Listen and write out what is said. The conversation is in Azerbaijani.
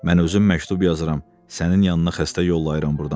Mən özüm məktub yazıram, sənin yanına xəstə yollayıram burdan.